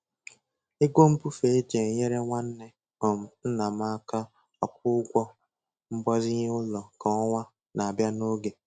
Ego Mbufe e ji e nyere nwanne um ńnà m aka akwụ ụgwọ mgbazinye ụlọ kwa ọnwa na-abịa n'oge.